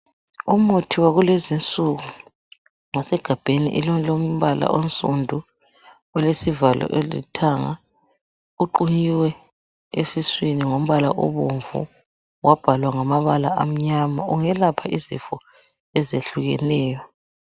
Umuthi wakulezinsuku ngosegabheni elilombala onsundu , kulesivalo elithanga kuqunyiwe esiswini ngombala obomvu, kwabhalwa ngamabala amnyama , ungelapha izifo ezehlukeneyo